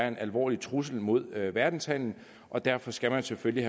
en alvorlig trussel mod verdenshandelen og derfor skal man selvfølgelig